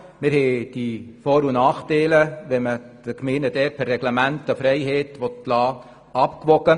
Wir haben die Vor- und Nachteile abgewogen, wenn man den Gemeinden per Reglement eine Freiheit lassen will.